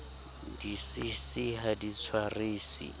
di cc ha di tshwarisi